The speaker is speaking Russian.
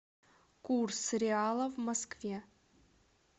курс реала в москве